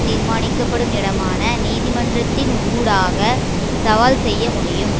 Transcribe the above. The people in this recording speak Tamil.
தீர்மானிக்க படும் இடமான நீதிமன்றத்தின் ஊடாக சவால் செய்ய முடியும்